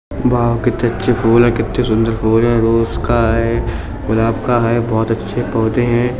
Wow कितने अच्छे फूल हैं कितने सुन्दर फूल हैं। रोज का है गुलाब का है। बहोत अच्छे पौधे हैं।